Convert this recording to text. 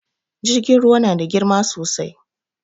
Jirgin ruwa na da girma sosai